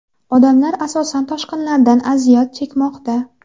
Odamlar asosan toshqinlardan aziyat chekmoqda.